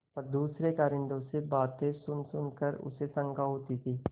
पर दूसरे कारिंदों से बातें सुनसुन कर उसे शंका होती थी